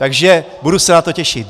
Takže budu se na to těšit.